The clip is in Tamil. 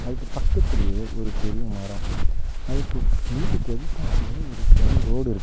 அதுக்கு பக்கத்துலேயே ஒரு பெரிய மரொ அதுக்கு வீட்டுக்கு எதுத்தாப்ளயே ஒரு பெரிய ரோடு இருக்கு.